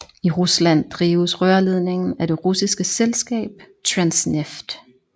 I Rusland drives rørledningen af det russiske selskab Transneft